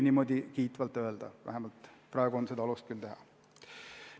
Vähemalt praegu on alust küll niimoodi kiitvalt öelda.